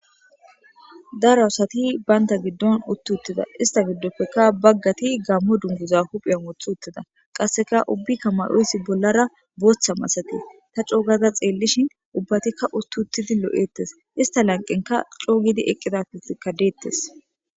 Darausati baynta giddon utt uttida ista giddoppekka baggati gammo dunguza hupheyan woth uttida qasseka ubbi ka mayoyssi bollara booththa masate ta coogaza xeellishin ubbatikka utt uttidi loo'ettes ista lanqenka coogidi eqqida ka deettes.